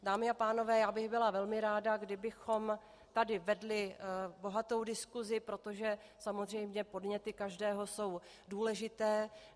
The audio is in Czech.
Dámy a pánové, já bych byla velmi ráda, kdybychom tady vedli bohatou diskusi, protože samozřejmě podněty každého jsou důležité.